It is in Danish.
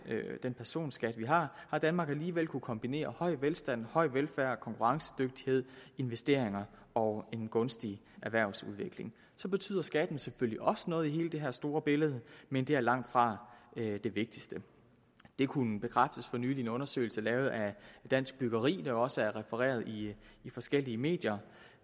personskat vi har har danmark alligevel kunnet kombinere høj velstand høj velfærd konkurrencedygtighed investeringer og en gunstig erhvervsudvikling så betyder skatten selvfølgelig også noget i hele det her store billede men det er langtfra det vigtigste det kunne bekræftes for nylig i en undersøgelse lavet af dansk byggeri der også er blevet refereret i forskellige medier